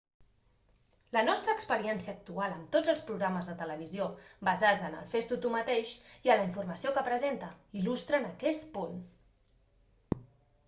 la nostra experiència actual amb tots els programes de televisió basats en el fes-t'ho tu mateix i en la informació que presenta il·lustren aquest punt